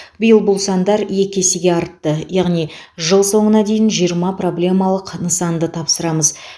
биыл бұл сандар екі есеге артты яғни жыл соңына дейін жиырма проблемалық нысанды тапсырамыз